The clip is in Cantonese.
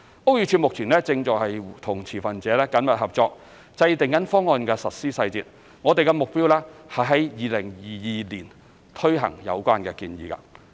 屋宇署目前正與持份者緊密合作，制訂方案實施細節，我們的目標是在2022年推行有關的建議。